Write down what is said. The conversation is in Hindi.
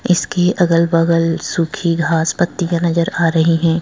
इसके अगल बगल सुखी घासपत्ती का नजर आ रही हैं।